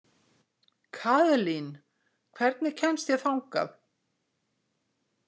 Kaðlín, hvernig kemst ég þangað?